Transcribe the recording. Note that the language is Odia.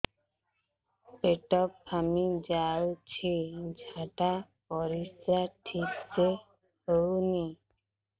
ପେଟ ଫାମ୍ପି ଯାଉଛି ଝାଡ଼ା ପରିସ୍ରା ଠିକ ସେ ହଉନି